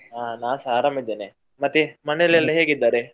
ಹ ನಾನ್ಸ ಅರಾಮಿದ್ದೇನೆ ಮತ್ತೆ ಮನೇಲಿ ಎಲ್ಲ ಹೇಗಿದ್ದಾರೆ?